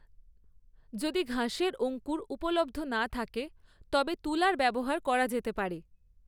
যদি ঘাসের অঙ্কুর উপলব্ধ না থাকে তবে তুলার ব্যবহার করা যেতে পারে।